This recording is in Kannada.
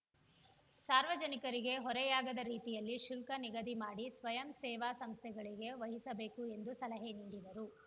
ಸಾರ್ವಜನಿಕರಿಗೆ ಹೊರೆಯಾಗದ ರೀತಿಯಲ್ಲಿ ಶುಲ್ಕ ನಿಗದಿ ಮಾಡಿ ಸ್ವಯಂ ಸೇವಾ ಸಂಸ್ಥೆಗೆ ವಹಿಸಬೇಕು ಎಂದು ಸಲಹೆ ನೀಡಿದರು